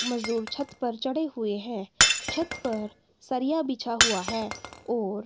मजदूर छत पर चढ़े हुए हैं। छत पर सरिया बिछा हुआ है और--